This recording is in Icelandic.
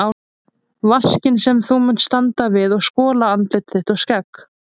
Vaskinn sem þú munt standa við og skola andlit þitt og skegg.